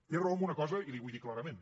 té raó en una cosa i li ho vull dir clarament